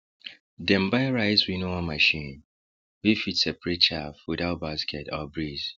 dem buy rice winnower machine wey fit separate chaff without basket or breeze